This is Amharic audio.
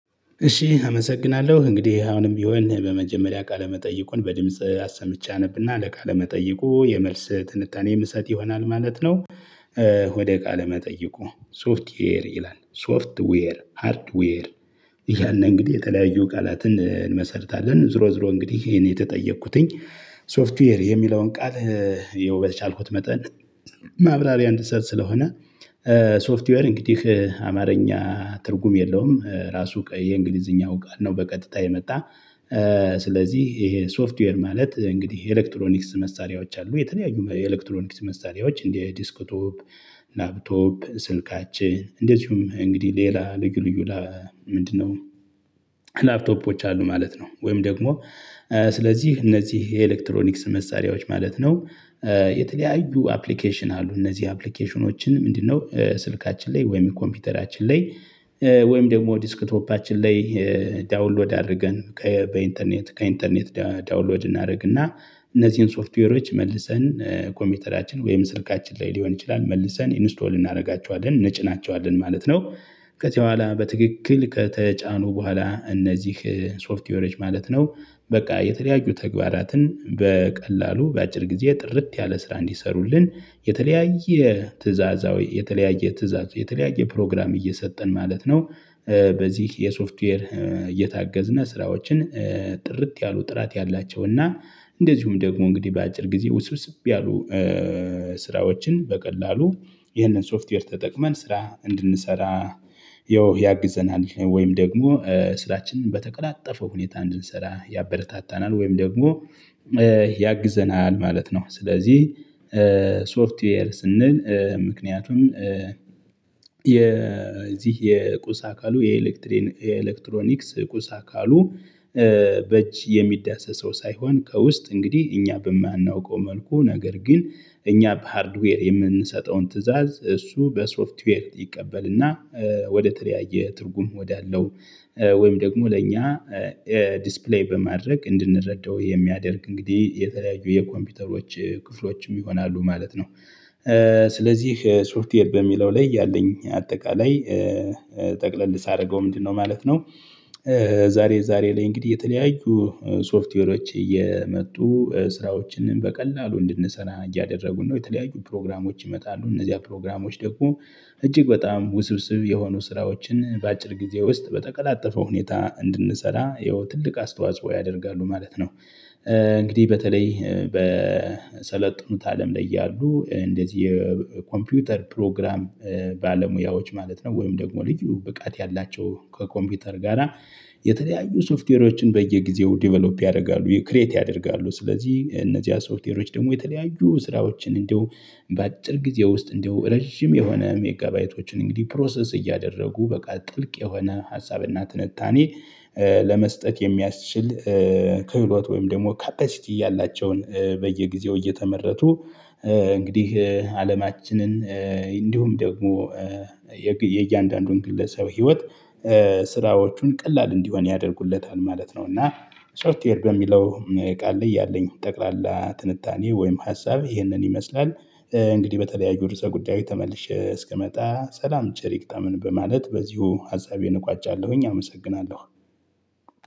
እሺ አመሰግናለሁ እንግዲህ አሁንም የሆነ በመጀመሪያ ቃለ መጠይቁን በድምጽ አሰምቼ አነብና ለቃለ መጠይቁ የመልስ ትንታኔ የምሰጥ ይሆናል ማለት ነው። ወደ ቃለመጠየቁ ሶፍትዌር ይላል ሶፍትዌር ሃርድዌር። እያልን እንግዲህ የተለያዩ ቃላትን እንመሰርታለን ዙሮ ዙሮ እንግዲህ ይሄን የተጠየቅኩትኝ ሶፍትዌር የሚለውን ቃል። ይኸው በቻልኩት መጠን ማብራሪያ እንድትሰጥ ስለሆነ። ሶፍትዌር እንግዲህ አማርኛ ትርጉም የለውም ራሱ የእንግሊዝኛው ጋር ነው በቀጥታ የመጣ። ስለዚህ ይሄ ሶፍትዌር ማለት እንግዲህ የኤሌክትሮኒክስ መሳሪያዎች አሉ የተለያዩ ኤሌክትሮኒክስ መሳሪያዎች እንደ ዲስክቶፕ። ላፕቶፕ ስልካችን እንደዚሁም እንግዲህ ሌላ ልዩ ልዩ ምንድነው? ላፕቶፖች አሉ ማለት ነው ወይም ደግሞ ስለዚህ እነዚህ የኤሌክትሮኒክስ መሳሪያዎች ማለት ነው። የተለያዩ አፕሊኬሽን አሉ እነዚህ አፕሊኬሽኖችን ምንድነው ስልካችን ላይ ወይም ኮምፒውተራችን ላይ? ወይም ደግሞ ዲስክቶፓችን ላይ። ዳውንሎድ አድርገን በኢንተርኔት ከኢንተርኔት ዳውንሎድ እናደርግና እነዚህን ሶፍትዌሮች መልሰን ኮምፒውተራችን ወይም ስልካችን ላይ ሊሆን ይችላል መልሰን ኢንስቶል እናደርጋቸዋለን እንጭናቸዋለን ማለት ነው። ከዚህ በኋላ በትክክል ከተጫኑ በኋላ እነዚህ ሶፍትዌሮች ማለት ነው። በቃ የተለያዩ ተግባራትን በቀላሉ በአጭር ጊዜ ጥርት ያለ ስራ እንዲሰሩልን የተለያየ ትእዛዛዊ የተለያየ ትእዛዝ የተለያየ ፕሮግራም እየሰጠን ማለት ነው። በዚህ የሶፍትዌር እየታገዝነ ስራዎችን ጥርጥ ያሉ ጥራት ያላቸውና እንደዚሁም ደግሞ እንግዲህ በአጭር ጊዜ ውስብስብ ያሉ። ስራዎችን በቀላሉ ይህንን ሶፍትዌር ተጠቅመን ስራ እንድንሰራ። ያግዘናል ወይም ደግሞ ስራችንን በተቀላጠፈው ሁኔታ እንድንሰራ ያበረታታናል ወይም ደግሞ ያግዘናል ማለት ነው። ስለዚህ ሶፍትዌር ስንል ምክንያቱም የዚህ የቁስ አካሉ የኤሌክትሮኒክስ ቁስ አካሉ። በእጅ የሚዳሰሰው ሳይሆን ከውስጥ እንግዲህ እኛ በማናውቀው መልኩ ነገር ግን እኛ በሃርድዌር የምንሰጠውን ትእዛዝ እሱ በሶፍትዌር ይቀበልና። ወደ ተለያየ ትርጉም ወዳለው ወይም ደግሞ ለእኛ። ዲስፕሌይ በማድረግ እንድንረዳው የሚያደርግ እንግዲህ የተለያዩ የኮምፒውተሮች ክፍሎችም ይሆናሉ ማለት ነው። ስለዚህ ሶፍትዌር በሚለው ላይ ያለኝ አጠቃላይ ጠቅለል ሳደርገው ምንድነው ማለት ነው? ዛሬ ዛሬ ላይ እንግዲህ የተለያዩ ሶፍትዌሮች እየመጡ ስራዎችንም በቀላሉ እንድንሰራ እያደረጉ ነው የተለያዩ ፕሮግራሞች ይመጣሉ እነዚያ ፕሮግራሞች ደግሞ። እጅግ በጣም ውስብስብ የሆኑ ስራዎችን በአጭር ጊዜ ውስጥ በተቀላጠፈው ሁኔታ እንድንሰራ ይኸው ትልቅ አስተዋጽኦ ያደርጋሉ ማለት ነው። እንግዲህ በተለይ በሰለጠኑት አለም ላይ ያሉ እንደዚህ የኮምፒውተር ፕሮግራም። ባለሙያዎች ማለት ነው ወይም ደግሞ ልዩ ብቃት ያላቸው ከኮምፒውተር ጋራ። የተለያዩ ሶፍትዌሮችን በየጊዜው ዴቨሎፕ ያደርጋሉ ክሬት ያደርጋሉ ስለዚህ እነዚህ ሶፍትዌሮች ደግሞ የተለያዩ ስራዎችን እንደው በአጭር ጊዜ ውስጥ እንደው ረጅም የሆነ ሜጋባይቶችን እንግዲህ ፕሮሰስ እያደረጉ በቃ ጥልቅ የሆነ ሀሳብና ትንታኔ። ለመስጠት የሚያስችል። ክህሎት ወይም ደግሞ ካፓሲቲ ያላቸውን በየጊዜው እየተመረቱ። እንግዲህ አለማችንን እንዲሁም ደግሞ የእያንዳንዱን ግለሰብ ህይወት። ስራዎቹን ቀላል እንዲሆን ያደርጉለታል ማለት ነው። እና ሶርትዌር በሚለው ቃል ላይ ያለኝ ጠቅላላ ትንታኔ ወይም ሀሳብ ይህንን ይመስላል። እንግዲህ በተለያዩ ርዕሰ ጉዳይ ተመልሼ እስከመጣ ሰላም ቸር ይግጠመን በማለት በዚሁ ሃሳቤን እቋጫለሁኝ አመሰግናለሁ።